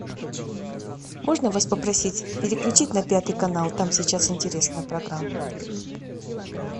можно вас попросить переключить на пятый канал там сейчас интересная программа